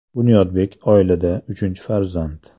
Bunyodbek oilada uchinchi farzand.